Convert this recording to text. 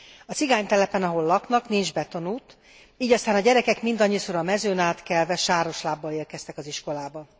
A cigánytelepen, ahol laknak, nincs betonút, így aztán a gyerekek mindannyiszor a mezőn átkelve, sáros lábbal érkeztek az iskolába.